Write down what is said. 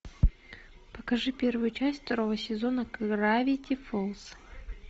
покажи первую часть второго сезона гравити фолз